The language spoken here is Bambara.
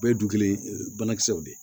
Bɛɛ ye du kelen banakisɛw de ye